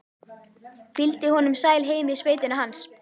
Fylgdi honum sæl heim í sveitina hans.